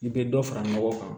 I bɛ dɔ fara ɲɔgɔn kan